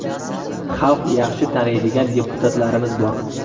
Xalq yaxshi taniydigan deputatlarimiz bor.